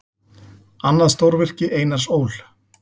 Annað stórvirki Einars Ól.